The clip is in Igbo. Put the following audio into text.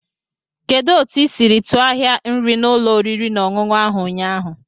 Kedu otu ị siri tuọ ahia nri n'ụlọ oriri na ọṅụṅụ ahụ ụnyaahụ?